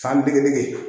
San dingɛ